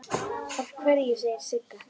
Af hverju, segir Sigga.